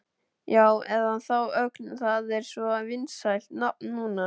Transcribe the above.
Já, eða þá Ögn, það er svo vinsælt nafn núna.